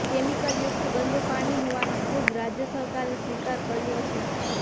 કેમિકયુક્ત ગંદુ પાણી હોવાનો ખુદ રાજ્ય સરકારે સ્વીકાર કર્યો છે